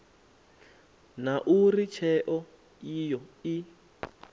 na uri tsheo iyo i